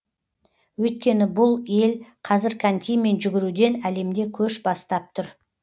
өйткені бұл ел қазір конькимен жүгіруден әлемде көш бастап тұр